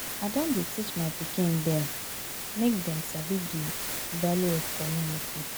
I don dey teach my pikin dem make dem sabi di value of community.